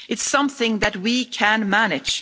It's something that we can manage.